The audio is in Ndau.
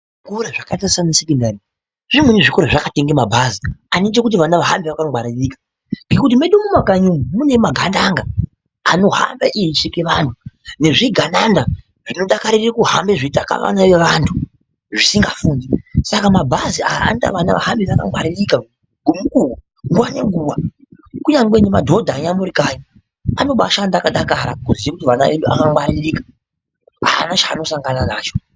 Zvikora zvakaita sana sekondari zimweni zvikora zvakatenga mabhazi anoita kuti vana vahambe vakangwaririka ngekuti mwedu mumakanyi umwu mune magandanga anohamba eicheka vantu nezvigananda zvinodakarira kuhamba zveitaka vana vevantu zvisikafundi saka mabhazi aya anoita kuti ana ahambe akangwaririka ngomukuwo nguwa nenguwa kunyangwe nemadhodha eya murikanyi anobashanda akadakara kuziya kuti vana vedu vakangwaririka hapana chaanosangana nacho.